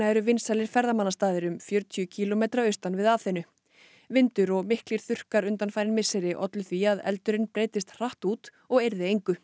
eru vinsælir ferðamannastaðir um fjörutíu kílómetra austan við Aþenu vindur og miklir þurrkar undanfarin misseri ollu því að eldurinn breiddist hratt út og eirði engu